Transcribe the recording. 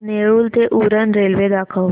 नेरूळ ते उरण रेल्वे दाखव